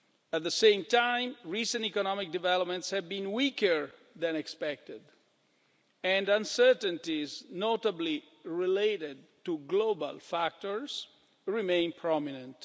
At the same time, recent economic developments have been weaker than expected and uncertainties, notably related to global factors, remain prominent.